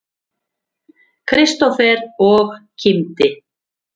Kristófer og kímdi.